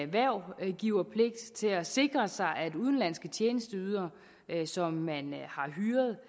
hvervgiverpligt til at sikre sig at udenlandske tjenesteydere som man har hyret